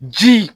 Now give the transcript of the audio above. Ji